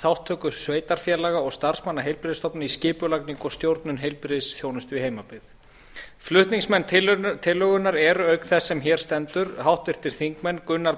þátttöku sveitarfélaga og starfsmanna heilbrigðisstofnana í skipulagningu og stjórnun heilbrigðisþjónustu í heimabyggð flutningsmenn tillögunnar eru auk þess sem hér stendur háttvirtir þingmenn gunnar